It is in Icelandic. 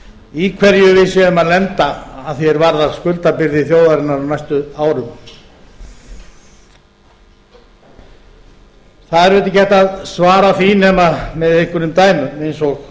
í hverju við séum að lenda að því er varðar skuldabyrði þjóðarinnar á næstu árum það er auðvitað ekki hægt að svara því nema með einhverjum dæmum eins og